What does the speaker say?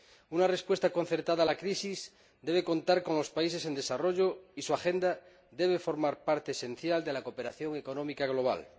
Una respuesta concertada a la crisis debe contar con los países en desarrollo y su agenda debe formar parte esencial de la cooperación económica global.